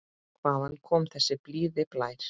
Hvaðan kom þessi blíði blær?